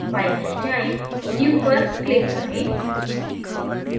file में जायें new पर click करें